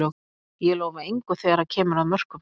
Ég lofa engu þegar að kemur að mörkum.